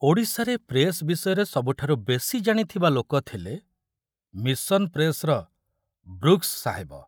ଓଡ଼ିଶାରେ ପ୍ରେସ ବିଷୟରେ ସବୁଠାରୁ ବେଶି ଜାଣିଥିବା ଲୋକ ଥିଲେ ମିଶନ ପ୍ରେସର ବ୍ରୁକ୍ସ ସାହେବ।